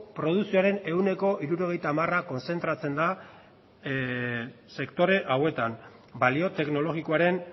produkzioaren ehuneko hirurogeita hamar kontzentratzen da sektore hauetan balio teknologikoaren